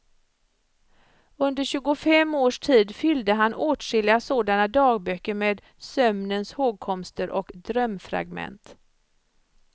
Under tjugofem års tid fyllde han åtskilliga sådana dagböcker med sömnens hågkomster och drömfragment.